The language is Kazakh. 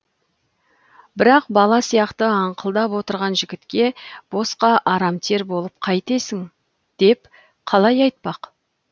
бірақ бала сияқты аңқылдап отырған жігітке босқа арам тер болып қайтесің деп қалай айтпақ